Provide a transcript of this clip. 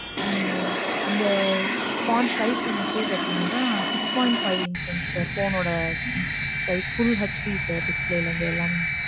உம் அந்த size வந்துட்டு பாத்தீங்கனா, six point five inch one sir. phone ஒட size full HD sir. Display ல இருந்து எல்லாமே